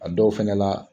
A dɔw fɛnɛ la